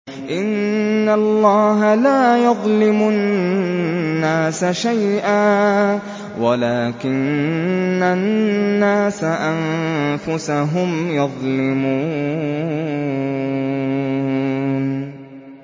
إِنَّ اللَّهَ لَا يَظْلِمُ النَّاسَ شَيْئًا وَلَٰكِنَّ النَّاسَ أَنفُسَهُمْ يَظْلِمُونَ